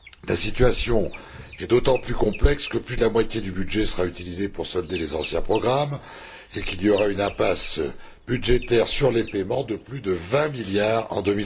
La situation est d'autant plus complexe que plus de la moitié du budget sera utilisée pour solder les anciens programmes et qu'il y aura une impasse budgétaire sur les paiements de plus de 20 milliards en